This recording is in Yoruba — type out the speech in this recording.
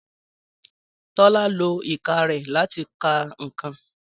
Tọ́lá lo ìka rẹ̀ láti ka ǹkan